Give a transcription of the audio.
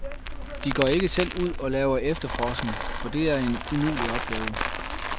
De går ikke selv ud og laver efterforskning, for det er en umulig opgave.